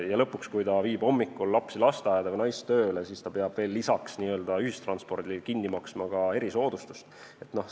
Ja lõpuks, kui ta viib hommikul lapsi lasteaeda või naist tööle, siis ta peab veel lisaks n-ö ühistranspordile kinni maksma ka erisoodustuse.